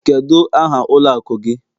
Kedu aha ụlọ akụ gị?